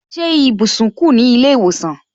Ṣé ibùsùn kù ní ilé ìwòsàn